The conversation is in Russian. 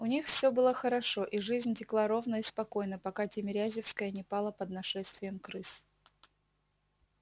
у них все было хорошо и жизнь текла ровно и спокойно пока тимирязевская не пала под нашествием крыс